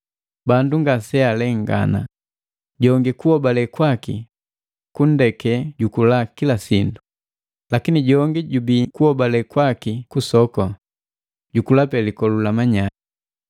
Bandu ngase alengana. Jongi kuhobale kwaki kunndeke jukula kila sindu, lakini jongi jojubii kuhobale kwaki kusoku, jukulape likolu la manyai.